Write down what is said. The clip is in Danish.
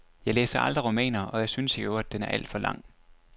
Jeg læser aldrig romaner, og jeg synes i øvrigt den er alt for lang.